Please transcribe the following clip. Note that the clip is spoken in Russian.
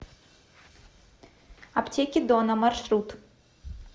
аптеки дона маршрут